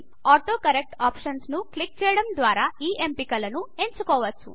autocorrect options ను click చేయడం ద్వారా ఈ ఎంపికలు ను ఎంచుకోవచ్చు